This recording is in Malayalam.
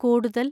കൂടുതൽ